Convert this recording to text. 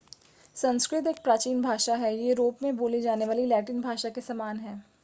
संस्कृत एक प्राचीन भाषा है यह यूरोप में बोली जाने वाली लैटिन भाषा के समान है